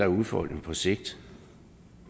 udfordringer på sigt